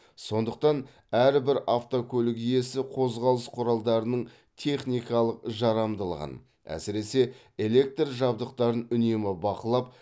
сондықтан әрбір автокөлік иесі қозғалыс құралдарының техникалық жарамдылығын әсіресе электр жабдықтарын үнемі бақылап